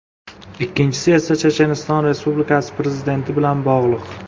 Ikkinchisi esa Checheniston Respublikasi prezidenti bilan bog‘liq.